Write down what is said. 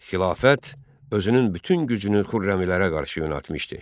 Xilafət özünün bütün gücünü Xürrəmilərə qarşı yönəltmişdi.